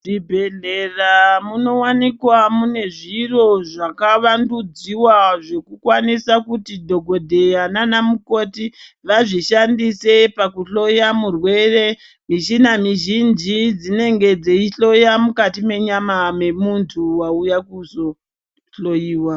Muzvibhehleya munowanikwa mune zviro zvakavandudziwa zvekukwanisa kuti dhokodheya nanamukoti vazvishandise pakuhloya murwere. Michina mizhinji dzinenge dzeihloya mukati mwenyama memuntu wauya kuzohloiwa.